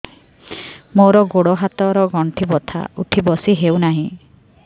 ମୋର ଗୋଡ଼ ହାତ ର ଗଣ୍ଠି ବଥା ଉଠି ବସି ହେଉନାହିଁ